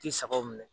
Ti sagaw minɛ